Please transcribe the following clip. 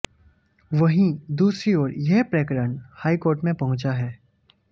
वहीं दूसरी ओर यह प्रकरण हाईकोर्ट में पहुंचा है